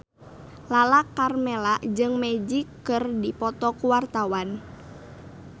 Lala Karmela jeung Magic keur dipoto ku wartawan